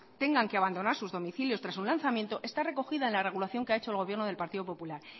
tengan que abandonar sus domicilios tras un lanzamiento está recogida en la regulación que ha hecho el gobierno del partido popular